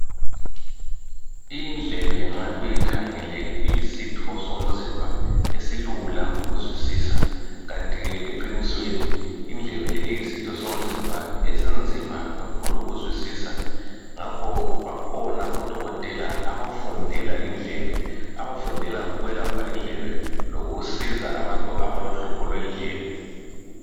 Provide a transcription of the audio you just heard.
Indlebe nxa uyikhangele iyisitho somzimba esilula ukuzwisisa kanti ke eqinisweni iyisitho somzimba esinzima kakhulu ukuzwisisa. Ngakhoke bakhona odokotela abafundela indlebe, bafundela ukwelapha indlebe lokusiza abantu abalohlupho lwendlebe.